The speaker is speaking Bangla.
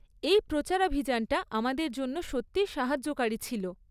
এই প্রচারাভিযানটা আমাদের জন্য সত্যি সাহায্যকারী ছিল।